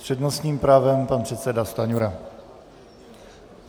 S přednostním právem pan předseda Stanjura.